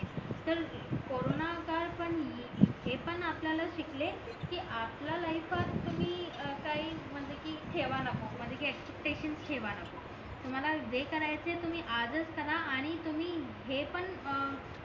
हे पण आपण शिकले की आपला लाईफात कुणी काही म्हणजे की ठेवा नको तुम्हाला जे करायचंय तुम्ही आजच करा आणि तुम्ही हे पण अह